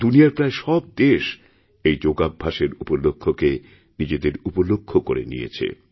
দুনিয়ার প্রায় সব দেশ এই যোগাভ্যাসের উপলক্ষকে নিজেদেরউপলক্ষ করে নিয়েছে